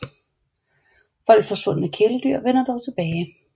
Folks forsvundne kæledyr vender dog tilbage